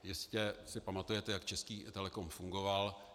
Jistě si pamatujete, jak Český Telecom fungoval.